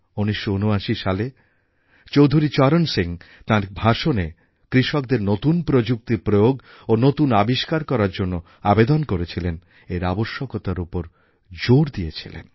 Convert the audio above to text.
১৯৭৯ সালে চৌধুরী চরণ সিং তাঁর ভাষণে কৃষকদের নতুন প্রযুক্তির প্রয়োগ ও নতুন আবিষ্কার করার জন্য আবেদন করেছিলেন এর আবশ্যকতার উপর জোর দিয়েছিলেন